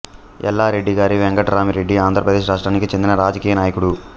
ఎల్లారెడ్డి గారి వెంకటరామి రెడ్డి ఆంధ్రప్రదేశ్ రాష్ట్రానికి చెందిన రాజకీయ నాయకుడు